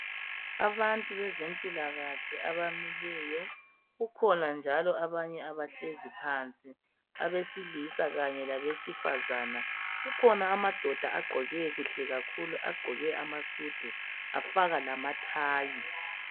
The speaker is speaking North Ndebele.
Abantu bezempilakahle abamileyo, kukhona njalo abanye abahlezi phansi. Abesilisa kanye labesifazane. Kukhona amadoda agqoke kuhle kakhulu afaka lamathayi.